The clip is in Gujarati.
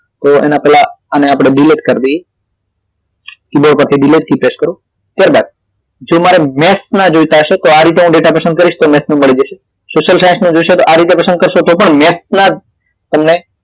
તો એના પેલા આને આપડે delete કરી દઈએ તમે delete key press કરો ત્યારબાદ તો તમારે maths ના જોઈતા હશે તો આ રીતે હું ડેટા પસંદ કરીશ તો હું maths નું મળી જશે social science નું જોશે તો આ રીતે પસંદ કરશો તો પણ maths ના જ તમને